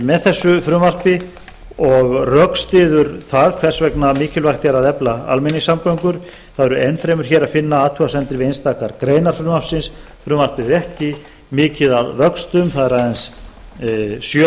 með þessu frumvarpi og rökstyður það hvers vegna mikilvægt er að efla almenningssamgöngur það er enn fremur hér að finna athugasemdir við einstakar greinar frumvarpsins frumvarpið er ekki mikið að vöxtum það er aðeins sjö